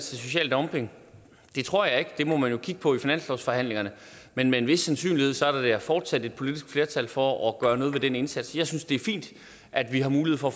social dumping det tror jeg ikke det må man jo kigge på i finanslovsforhandlingerne men med en vis sandsynlighed er der fortsat et politisk flertal for at gøre noget ved den indsats jeg synes det er fint at vi har mulighed for at